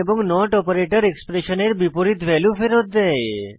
এবং not operator এক্সপ্রেশনের বিপরীত ভ্যালু ফেরৎ দেয়